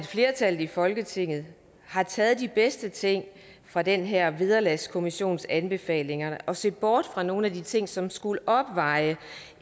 flertallet i folketinget har taget de bedste ting fra den her vederlagskommissions anbefalinger og ser bort fra nogle af de ting som skulle opveje